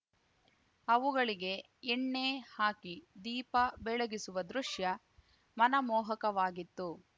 ಅವುಗಳಿಗೆ ಎಣ್ಣೆ ಹಾಕಿ ದೀಪ ಬೆಳಗಿಸುವ ದೃಶ್ಯ ಮನಮೋಹಕವಾಗಿತ್ತು